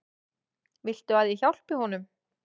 Viltu að ég hjálpi honum?